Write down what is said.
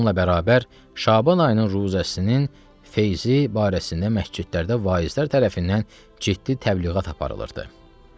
Bununla bərabər, Şaban ayının ruzəsinin feyzi barəsində məscidlərdə vaizlər tərəfindən ciddi təbliğat aparılırdı.